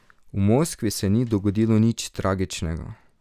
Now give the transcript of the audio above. V Moskvi se ni dogodilo nič tragičnega.